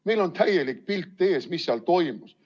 Meil on täielik pilt ees, mis seal toimus.